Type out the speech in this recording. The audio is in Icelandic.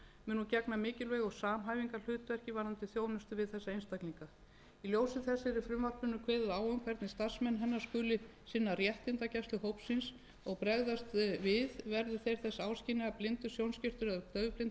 mun hún gegna mikilvægu samhæfingarhlutverki varðandi þjónustu við þessa einstaklinga í ljósi þess er í frumvarpinu kveðið á um hvernig starfsmenn hennar skuli sinna réttindagæslu hópsins og bregðast við verði þeir þess áskynja að blindur sjónskertur eða daufblindur